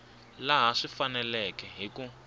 laha swi faneleke hi ku